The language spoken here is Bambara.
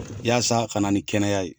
Yaasa ka na ni kɛnɛya ye